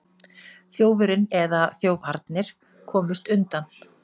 Þjófurinn eða þjófarnir komust undan